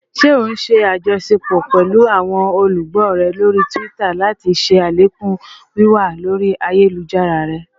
Ṣe o n ṣe ajọṣepọ pẹlu awọn olugbo rẹ lori Twitter lati ṣe alekun wiwa lori ayelujara rẹ?